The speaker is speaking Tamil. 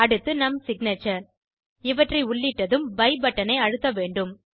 அடுத்து நம் சிக்னேச்சர் இவற்றை உள்ளிட்டதும் பய் பட்டன் ஐ அழுத்தவேண்டும்